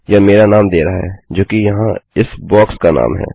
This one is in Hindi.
यह मेरा नाम दे रहा है जो कि यहाँ इस बॉक्स का नाम है